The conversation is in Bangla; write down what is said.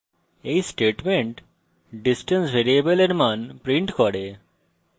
এই statement distance ভ্যারিয়েবলের মান prints করে